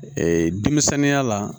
Ee denmisɛnya la